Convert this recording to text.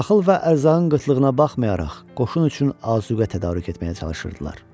Taxıl və ərzağın qıtlığına baxmayaraq, qoşun üçün azuqə tədarük etməyə çalışırdılar.